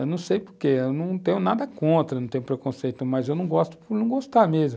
Eu não sei por quê, eu não tenho nada contra, não tenho preconceito, mas eu não gosto por não gostar mesmo.